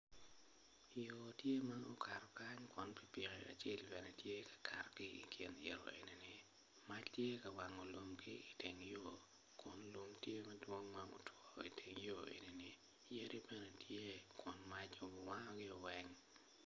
Yo tye ma okato kany kun pikipiki acel bene tye ka kato ki i kin yo enini mac tye ka wango lum ki iteng yo kun lumtye ma dwong ma gutwo iteng yo enini yadi bene tye kun mac ubu wangio weny